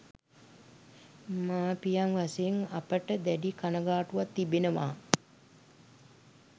මාපියන් වශයෙන් අපට දැඩි කනගාටුවක් තිබෙනවා.